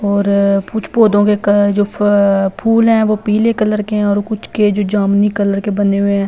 और कुछ पौधों के जो फूल हैं वो पीले कलर के हैं और कुछ के जो जामुनी कलर के बने हुए हैं।